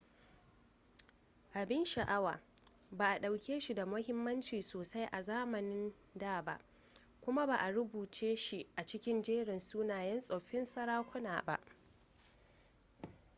abin sha'awa ba a ɗauke shi da muhimmanci sosai a zamanin da ba kuma ba a rubuce shi a cikin jerin sunayen tsoffin sarakuna ba